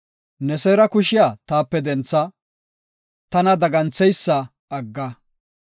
Ne seera kushiya taape dentha; tana dagantheysa agga.